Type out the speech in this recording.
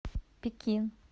пекин